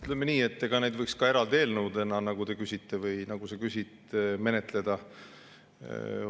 Ütleme nii, et neid võiks ka eraldi eelnõudena menetleda, nagu sa ütlesid.